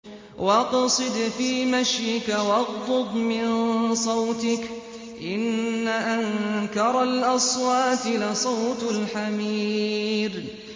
وَاقْصِدْ فِي مَشْيِكَ وَاغْضُضْ مِن صَوْتِكَ ۚ إِنَّ أَنكَرَ الْأَصْوَاتِ لَصَوْتُ الْحَمِيرِ